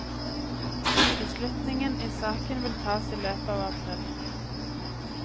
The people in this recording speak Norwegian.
Beslutningen i saken vil tas i løpet av april.